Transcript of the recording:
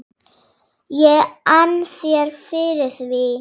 ég ann þér fyrir því.